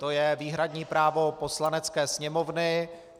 To je výhradní právo Poslanecké sněmovny.